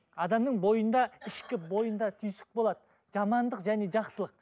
адамның бойында ішкі бойында түйсік болады жамандық және жақсылық